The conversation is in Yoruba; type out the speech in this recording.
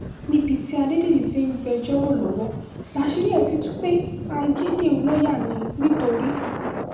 níbi tí adédèjì ti ń gbẹ́jọ́ rò lọ́wọ́ láṣìírí ẹ̀ ti tú pé ayédèrú lọ́ọ́yà ní nìtorí